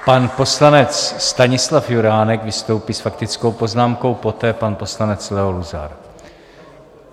Pan poslanec Stanislav Juránek vystoupí s faktickou poznámkou, poté pan poslanec Leo Luzar.